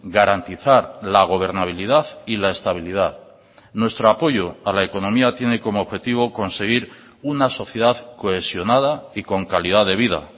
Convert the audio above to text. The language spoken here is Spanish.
garantizar la gobernabilidad y la estabilidad nuestro apoyo a la economía tiene como objetivo conseguir una sociedad cohesionada y con calidad de vida